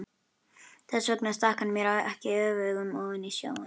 Þess vegna stakk hann mér ekki öfugum ofan í snjóinn.